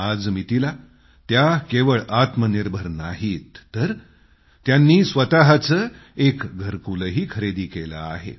आजमितीला त्या केवळ आत्मनिर्भर नाहीत तर त्यांनी स्वतःचं एक घरकूलही खरेदी केलं आहे